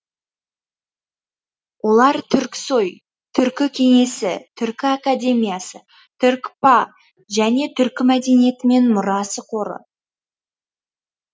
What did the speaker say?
олар түрксои түркі кеңесі түркі академиясы түркпа және түркі мәдениеті мен мұрасы қоры